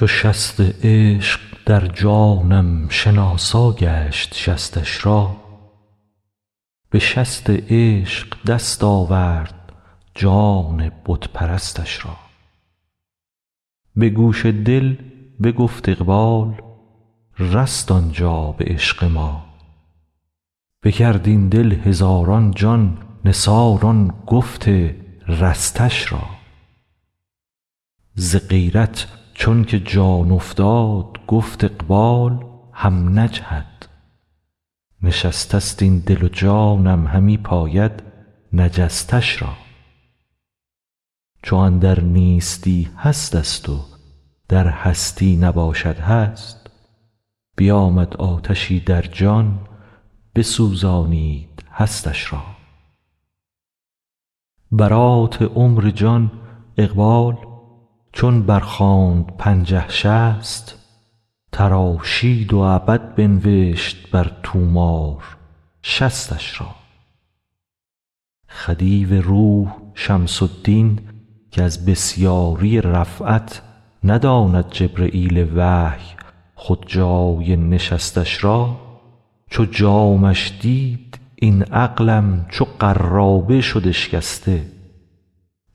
چو شست عشق در جانم شناسا گشت شستش را به شست عشق دست آورد جان بت پرستش را به گوش دل بگفت اقبال رست آن جان به عشق ما بکرد این دل هزاران جان نثار آن گفت رستش را ز غیرت چونک جان افتاد گفت اقبال هم نجهد نشستست این دل و جانم همی پاید نجستش را چو اندر نیستی هستست و در هستی نباشد هست بیامد آتشی در جان بسوزانید هستش را برات عمر جان اقبال چون برخواند پنجه شصت تراشید و ابد بنوشت بر طومار شصتش را خدیو روح شمس الدین که از بسیاری رفعت نداند جبرییل وحی خود جای نشستش را چو جامش دید این عقلم چو قرابه شد اشکسته